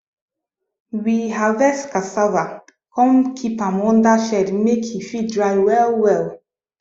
we harvest cassava come keep am under shed make e fit dry well well